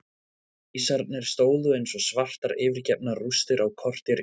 Vísarnir stóðu eins og svartar yfirgefnar rústir á kortér í eitt.